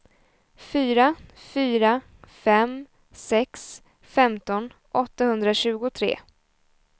fyra fyra fem sex femton åttahundratjugotre